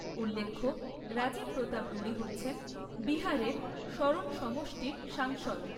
উল্লেখ্য, রাজীব প্রতাপ রুড়ী হচ্ছেন বিহারের সরণ সমষ্টির সাংসদ।